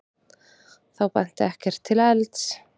Þá benti ekkert til elds.